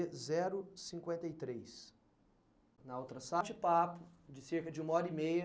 zero cinquenta e três. Na outra de papo, de cerca de uma hora e meia,